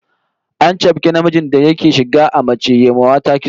An chafke namijin da yake shiga a mace ya wa mata kitso